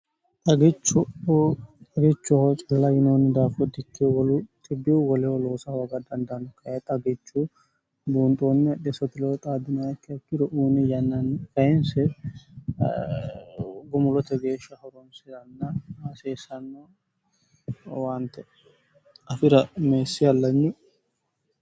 Xagichuho cilla yinoonni daafottikki wolu tibiwu woleho loosa hooga dandaanno kae xagichu buunxoonne desoteloo xaadinaikke akkiro uumi yannanni fayinse gumulote geeshsha horonsiranna hasiissanno waante afira meessi allanyi